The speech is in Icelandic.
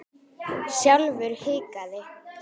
Sjálfur hikaði